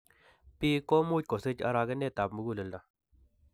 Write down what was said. Biik komuch kosich arogenet ab muguleldo